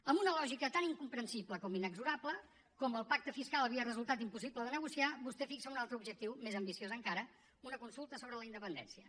amb una lògica tan incomprensible com inexorable com el pacte fiscal havia resultat impossible de negociar vostè fixa un altre objectiu més ambiciós encara una consulta sobre la independència